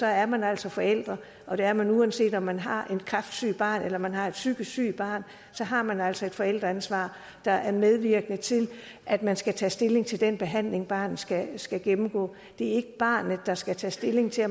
er man altså forældre og det er man uanset om man har et kræftsygt barn eller om man har et psykisk sygt barn og så har man altså et forældreansvar der er medvirkende til at man skal tage stilling til den behandling barnet skal skal gennemgå det er ikke barnet der skal tage stilling til